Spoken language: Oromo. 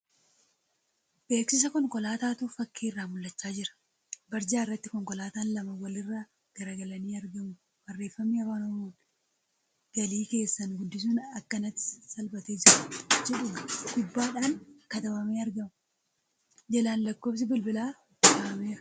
Beeksisa konkolaataatu fakkii irraa mul'achaa jira. Barjaan irratti konkolaataan lama wal irraa garagalanii argamu Barreeffamni Afaan Oromoon ' Galii keessan guddisuun akkanatti salphatee jira ' jedhu gubbaadhaan katabamee argama. Jalaan lakkoofsi bilbilaa kaa'ameera.